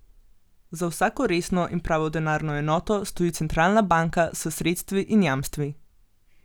Za vsako resno in pravo denarno enoto stoji centralna banka, s sredstvi in jamstvi.